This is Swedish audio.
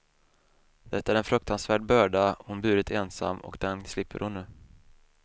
Det är en fruktansvärd börda hon burit ensam och den slipper hon nu.